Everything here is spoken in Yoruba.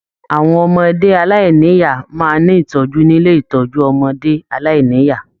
Àwọn ọmọdé aláìníya máa n ní itọju nílé ìtọjú ọmọdé aláìníya.